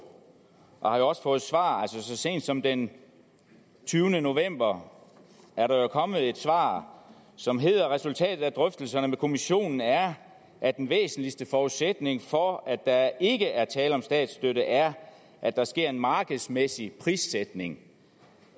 og har også fået svar så sent som den tyvende november er der jo kommet et svar som hedder resultatet af drøftelserne med kommissionen er at den væsentligste forudsætning for at der ikke er tale om statsstøtte er at der sker en markedsmæssig prissætning